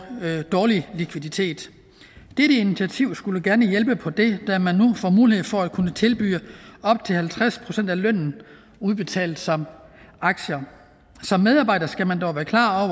dårlig likviditet dette initiativ skulle gerne hjælpe på det da man nu får mulighed for at kunne tilbyde op til halvtreds procent af lønnen udbetalt som aktier som medarbejder skal man dog være klar